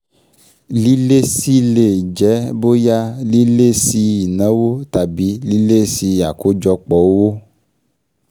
Lílési lè jẹ́ bóyá lílési ìnáwó tàbí lílési àkọ́jọpọ̀ owó